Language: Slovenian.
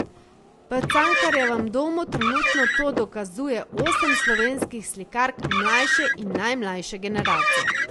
V Cankarjevem domu trenutno to dokazuje osem slovenskih slikark mlajše in najmlajše generacije.